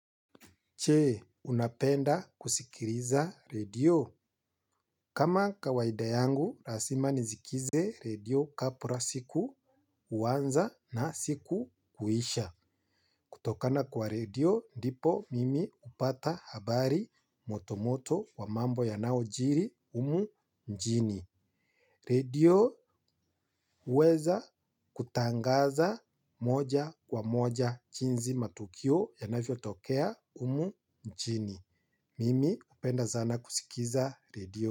Je, unapenda kusikiliza redio? Kama kawaida yangu lazima nisikize redio kabla siku kuanza na siku kuisha. Kutokana kwa redio ndipo mimi hupata habari motomoto wa mambo yanayojiri humu nchini. Redio huweza kutangaza moja kwa moja jinsi matukio yanavyotokea humu nchini. Mimi hupenda sana kusikiza redio.